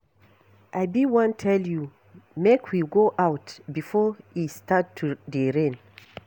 I be wan tell you make we go out before e start to dey rain.